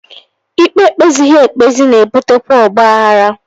Ikpe e kpezighị ekpezi na-ebutekwa ọgbaghara